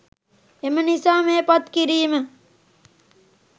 එම නිසා මේ පත් කිරීම